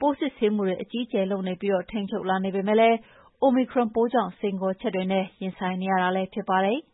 ပိုးစစ်ဆေးမှု အကြီးအကျယ်လုပ်ပြီး ထိန်းချုပ်လာပေမယ့် Omicron ပိုးကြောင့် စိန်ခေါ်ချက်တွေနဲ့ ရင်ဆိုင်နေရတာ ဖြစ်ပါတယ်။